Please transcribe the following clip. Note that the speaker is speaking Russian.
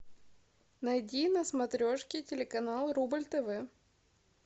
найди на смотрешке телеканал рубль тв